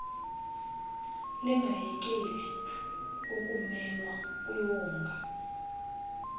lingayekeli ukumelwa kwiwonga